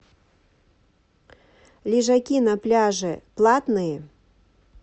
лежаки на пляже платные